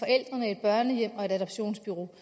børnehjem og et adoptionsbureau